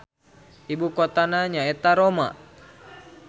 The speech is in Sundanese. Ibu kotana nyaeta Roma.